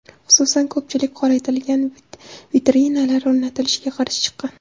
Xususan, ko‘pchilik qoraytirilgan vitrinalar o‘rnatilishiga qarshi chiqqan.